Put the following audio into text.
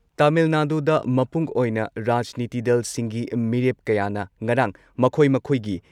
ꯇꯥꯃꯤꯜ ꯅꯥꯗꯨꯗ ꯃꯄꯨꯡ ꯑꯣꯏꯅ ꯔꯥꯖꯅꯤꯇꯤ ꯗꯜꯁꯤꯡꯒꯤ ꯃꯤꯔꯦꯞ ꯀꯌꯥꯅ